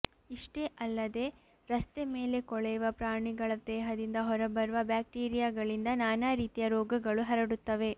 ಇಷ್ಟೇ ಅಲ್ಲದೆ ರಸ್ತೆ ಮೇಲೆ ಕೊಳೆಯುವ ಪ್ರಾಣಿಗಳ ದೇಹದಿಂದ ಹೊರಬರುವ ಬ್ಯಾಕ್ಟೀರಿಯಾಗಳಿಂದ ನಾನಾ ರೀತಿಯ ರೋಗಗಳೂ ಹರಡುತ್ತವೆ